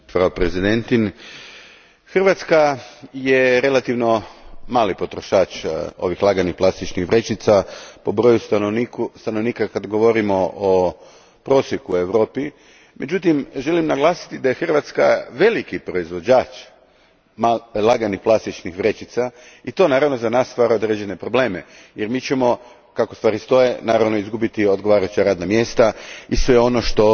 Gospođo predsjednice, Hrvatska je relativno mali potrošač laganih plastičnih vrećica po broju stanovnika kad govorimo o prosjeku u Europi. Međutim, želim naglasiti da je Hrvatska veliki proizvođač laganih plastičnih vrećica i to naravno za nas stvara određene probleme, jer mi ćemo kako stvari stoje izgubiti odgovarajuća radna mjesta i sve ono što